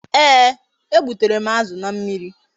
Ee, e gbutere m azụ na mmiri